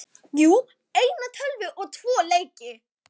Jú, eina tölvu og tvo leiki.